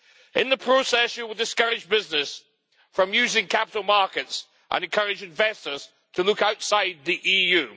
In the process, you will discourage business from using capital markets and encourage investors to look outside the EU.